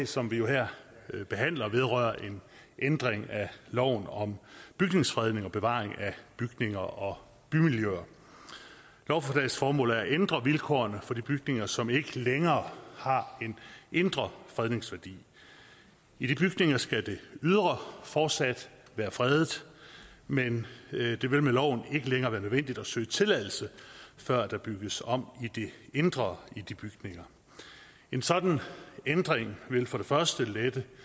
som vi jo her behandler vedrører en ændring af loven om bygningsfredning og bevaring af bygninger og bymiljøer lovforslagets formål er at ændre vilkårene for de bygninger som ikke længere har en indre fredningsværdi i de bygninger skal det ydre fortsat være fredet men det vil med loven ikke længere være nødvendigt at søge tilladelse før der bygges om i det indre i de bygninger en sådan ændring vil for det for